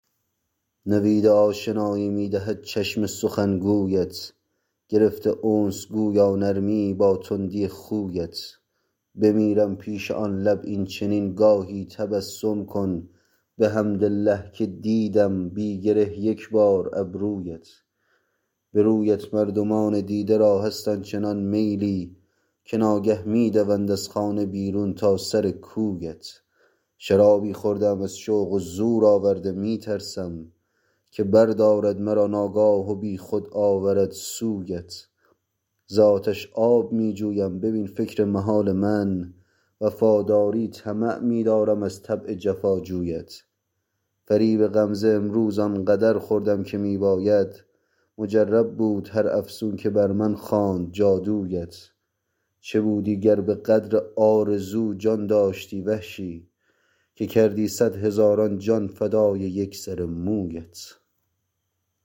نوید آشنایی می دهد چشم سخن گویت گرفته انس گویا نرمیی با تندی خویت بمیرم پیش آن لب این چنین گاهی تبسم کن بحمدالله که دیدم بی گره یک بار ابرویت به رویت مردمان دیده را هست آن چنان میلی که ناگه می دوند از خانه بیرون تا سر کویت شرابی خورده ام از شوق و زور آورده می ترسم که بردارد مرا ناگاه و بیخود آورد سویت ز آتش آب می جویم ببین فکر محال من وفاداری طمع می دارم از طبع جفاجویت فریب غمزه امروز آن قدر خوردم که می باید مجرب بود هر افسون که بر من خواند جادویت چه بودی گر به قدر آرزو جان داشتی وحشی که کردی صدهزاران جان فدای یک سر مویت